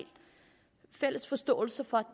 fælles forståelse